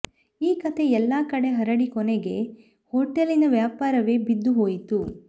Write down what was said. ಈ ಕಥೆ ಎಲ್ಲಾ ಕಡೆ ಹರಡಿ ಕೊನೆಗೆ ಹೋಟೆಲಿನ ವ್ಯಾಪಾರವೇ ಬಿದ್ದು ಹೋಯಿತು